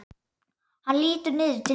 Hann lítur niður til mín.